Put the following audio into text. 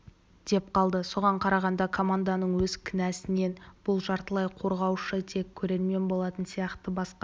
деп қалды соған қарағанда команданың өз кінәсінен бұл жартылай қорғаушы тек көрермен болатын сияқты басқа